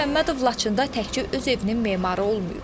Azər Məmmədov Laçında təkcə öz evinin memarı olmayıb.